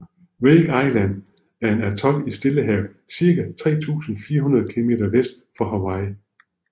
Wake Island er en atol i Stillehavet cirka 3400 km vest for Hawaii